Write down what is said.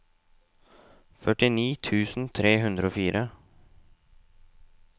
førtini tusen tre hundre og fire